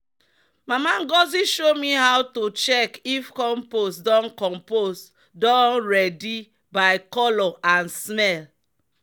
"mama ngozi show me how to check if compost don compost don ready by colour and smell."